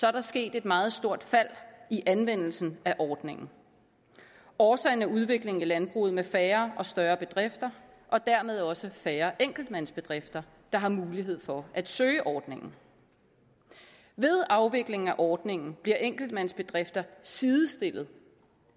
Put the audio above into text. er der sket et meget stort fald i anvendelsen af ordningen årsagen er udviklingen i landbruget med færre og større bedrifter og dermed også færre enkeltmandsbedrifter der har mulighed for at søge ordningen ved afvikling af ordningen bliver enkeltmandsbedrifter sidestillet